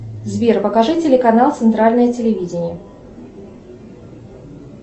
сбер покажи телеканал центральное телевидение